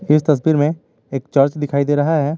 इस तस्वीर में एक चर्च दिखाई दे रहा है।